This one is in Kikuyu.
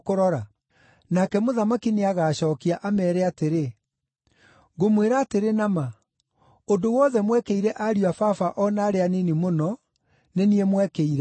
“Nake Mũthamaki nĩagacookia, ameere atĩrĩ, ‘Ngũmwĩra atĩrĩ na ma, ũndũ wothe mwekĩire ariũ a Baba o na arĩa anini mũno, nĩ niĩ mwekĩire.’